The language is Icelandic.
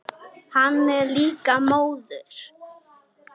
Hann er líka móður.